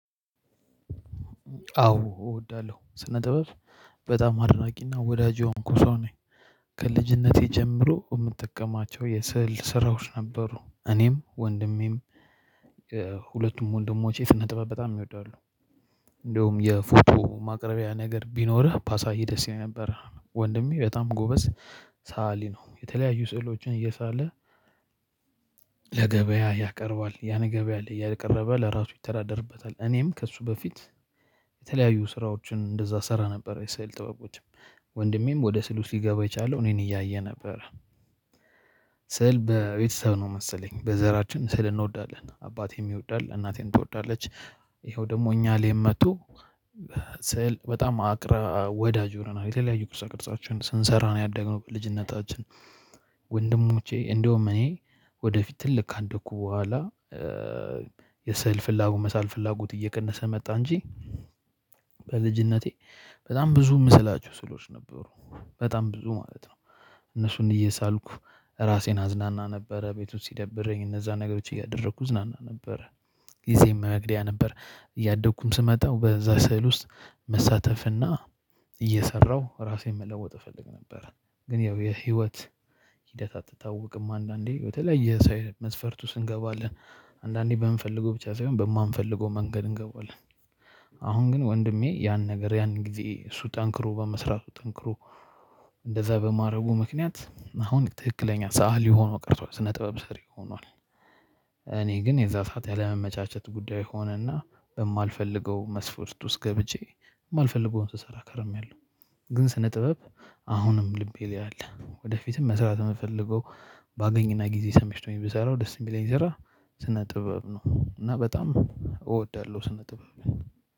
አዎ እወዳለሁ ስነ ጥበብ በጣም አድናቂና ወዳጅ የሆንኩ ሰው ነኝ። ከልጅነቴ ጀምሮ የምጠቀማቸው የስዕል ስራዎች ነበሩ እኔም ወንድሜም ሁለቱም ወንድሞቼ ስነ ጥበብ በጣም ይወዳሉ። እንደውም የፎቶ ማቅረቢያ ነገር ቢኖርህ ባሳይህ ደስ ይለኛል ነበር። ወንድሜ በጣም ጎበዝ ሰአሊ ነው። የተለያዩ ስዕሎችን እየሳለ ለገበያ ያቀርባል ያን ገበያ ላይ እያቀረበ ለራሱ ይተዳደርበታል። እኔም ከእሱ በፊት የተለያዩ ስራዎችን እንደዛ እሰራ ነበር። የስዕል ጥበቦችም ወንድሜም ወደ ስዕል ውስጥ ሊገባ የቻለ እኔን እያየ ነበር። ስዕል በቤተሰብ ነው መሰለኝ በዘራችን ስዕል እንወዳለን አባቴም ይወዳል እናቴም ትወዳለች። ይኸው ደግሞ እኛ ላይም መጦ ስዕል በጣምራ ወዳጅ ሆነናል። የተለያዩ ቅርጻ ቅርጾችን ስንሰራ ነው ያደግነው በልጅነታችን። ወንድሙቼ እንደውም እኔ ወደፊት ትልቅ ካደኩ በኋላ የስዕል ፍላጎት መሳል ፍላጎቴ እየቀነሰ መጣ እንጂ። በልጅነቴ በጣም ብዙ እምስላችሁ ስዕሎች ነበሩ። በጣም ብዙ ማለት ነው። እነሱን እየሳልኩ ራሴን አዝናና ነበረ ቤቱ ውስጥ ሲደብረኝ እነዛን ነገሮች እያደረኩ እዝናና ነበረ። ጊዜም መግደያ ነበር እያደኩም ስመጣ በዛ ስዕል ውስጥ መሳተፍና እየሰራው ራሴን መለወጥ እፈልግ ነበር። ግን ያው የህይወት ሂደት አትታወቅም አንዳንዴ በተለይ የስዕል መስፈርቱ ስንገባ አንዳንዴ በምንፈልገው ብቻ ሳይሆን በማንፈልገው መንገድ እንገባዋለን። አሁን ግን ወንድሜ ያን ነገር ያን ጊዜ እሱ ጠንክሮ በመስራቱ ጠንክሮ እንደዛ በማድረጉ ምክንያት አሁን ትክክለኛ ሰአሊ ሆኖ ቀርቷል ስነ ጥበብ ስሪ ሁኗል። እኔ ግን የዛ ሰዓት ያለመመቻቸት ጉዳይ ሆነና በማልፈልገው መስፍርት ውስጥ ገብቼ የማልፈልገውን ስሰራ ከርሜያለሁ። ግን ስነ ጥበብ አሁንም ልቤ ላይ አለ። ወደፊትም መስራት የምፈልገው ባገኝና ጊዜ ተመችቶኝ ብሰራው ደስ የሚለኝ ስራ ስነ ጥበብ ነው። እና በጣም እወዳለሁ ስነ ጥበብ